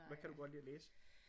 Hvad kan du godt lide at læse?